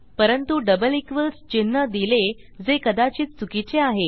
परंतु double equals चिन्ह दिले जे कदाचित चुकीचे आहे